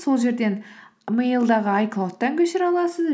сол жерден мэйлдағы айклаудтан көшіре аласыз